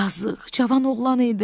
Yazıq, cavan oğlan idi.